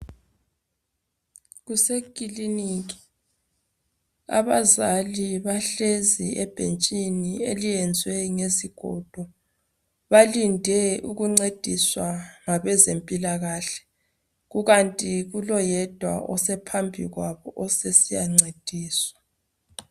Kusekiliniki, abazali bahlezi ebhentshini eliyenzwe ngezigodo. Balinde ukuncediswa ngabezempilakahle. Kukanti kuloyedwa osephambi kwabo osesiyancediswa.